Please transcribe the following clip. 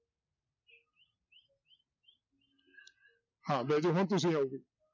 ਹਾਂ ਬਹਿ ਜਾਓ ਹੁਣ ਤੁਸੀਂ ਆਓ ਜੀ